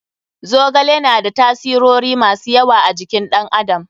Zogale na da tasirori masu yawa a jikin ɗan adam.